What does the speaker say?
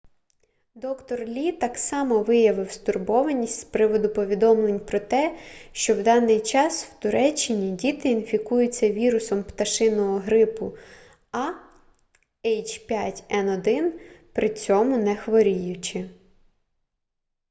д-р лі так само виявив стурбованість з приводу повідомлень про те що в даний час в туреччині діти інфікуються вірусом пташиного грипу a h5n1 при цьому не хворіючи